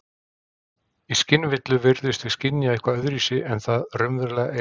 Í skynvillu virðumst við skynja eitthvað öðruvísi en það raunverulega er.